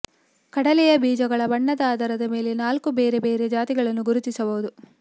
ಕಡಲೆಯ ಬೀಜಗಳ ಬಣ್ಣದ ಆಧಾರದ ಮೇಲೆ ನಾಲ್ಕು ಬೇರೆ ಬೇರೆ ಜಾತಿಗಳನ್ನು ಗುರುತಿಸಬಹುದು